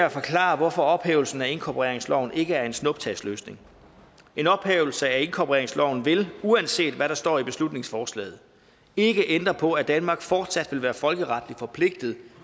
at forklare hvorfor ophævelsen af inkorporeringsloven ikke er en snuptagsløsning en ophævelse af inkorporeringsloven vil uanset hvad der står i beslutningsforslaget ikke ændre på at danmark fortsat vil være folkeretligt forpligtet